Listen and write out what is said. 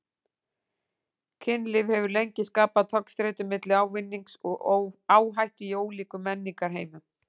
Kynlíf hefur lengi skapað togstreitu milli ávinnings og áhættu í ólíkum menningarheimum.